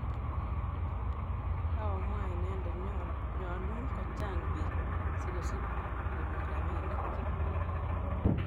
kaomwa inendet nyalun ko chang bik sikosich konyor rabinik